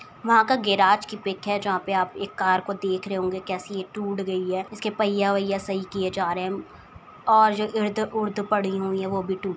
वहाँ का गेराज की पिक है जहाँ पे आप एक कार को देख रहे होंगे। कैसी ये टूट गयी है। इसके पईया वईया सही किये जा रहे है और जो इर्द उर्द पड़ी हुई है वो भी टूट --